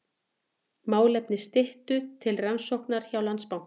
Málefni Styttu til rannsóknar hjá Landsbanka